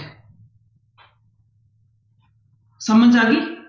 ਸਮਝ ਆ ਗਈ।